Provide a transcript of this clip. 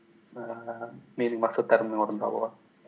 ііі менің мақсаттарымның орындалуы